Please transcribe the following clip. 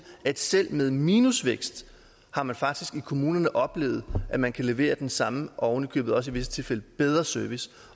at selv med minusvækst har man faktisk i kommunerne oplevet at man kan levere den samme og oven i købet også i visse tilfælde bedre service